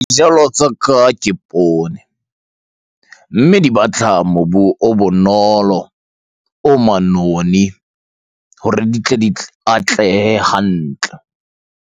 Dijalo tsa ka ke poone. Mme di batla mobu o bonolo, o manoni hore di tle atlehe hantle.